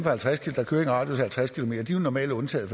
radius af halvtreds km jo normalt er undtaget